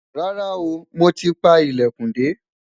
rárá o, mọ tí pá ilẹkùn de